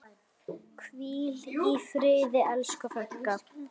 Hvíl í friði, elsku frænka.